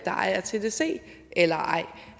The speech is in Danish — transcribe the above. ejer tdc eller ej